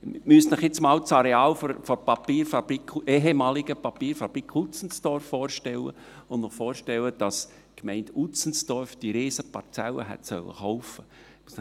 Sie müssen sich nun einmal das Areal der ehemaligen Papierfabrik Utzenstorf vorstellen und dass die Gemeinde Utzenstorf diese riesige Parzelle hätte kaufen sollen.